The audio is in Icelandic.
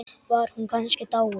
Var hún kannski dáin?